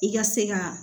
I ka se ka